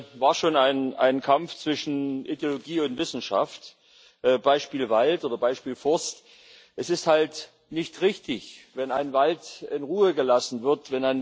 Es war schon ein Kampf zwischen Ideologie und Wissenschaft Beispiel Wald oder Beispiel Forst. Es ist halt nicht richtig, wenn ein Wald in Ruhe gelassen wird.